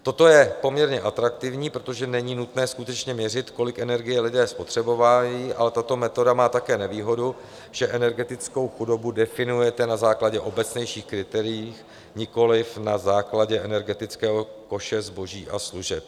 Toto je poměrně atraktivní, protože není nutné skutečně měřit, kolik energie lidé spotřebovávají, ale tato metoda má také nevýhodu, že energetickou chudobu definujete na základě obecnějších kritérií, nikoliv na základě energetického koše zboží a služeb.